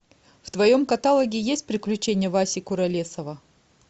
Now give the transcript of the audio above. в твоем каталоге есть приключения васи куролесова